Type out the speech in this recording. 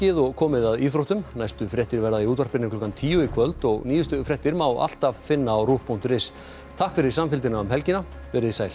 og komið að íþróttum næstu fréttir verða í útvarpinu klukkan tíu í kvöld og nýjustu fréttir má alltaf finna á rúv punktur is takk fyrir samfylgdina um helgina veriði sæl